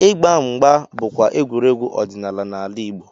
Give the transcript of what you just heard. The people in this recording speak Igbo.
Ịgba mgba bụkwa egwuregwu ọdịnala n'ala Igbo.